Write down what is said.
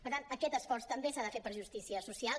per tant aquest esforç també s’ha de fer per justícia social